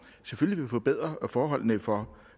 selvfølgelig vil forbedre forholdene for